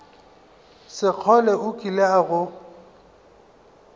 sekgole o kile a go